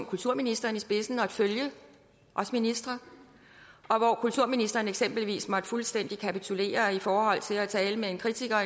kulturministeren i spidsen og et følge også ministre og kulturministeren måtte eksempelvis fuldstændig kapitulere i forhold til at tale med en kritiker